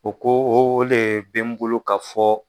U ko o de be n bolo ka fɔ.